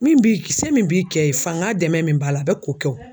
Min b'i se min b'i kɛ ye fanga dɛmɛn min b'a la a bɛ k'o kɛ o.